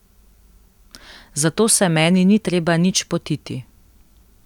Zato se meni ni treba nič potiti.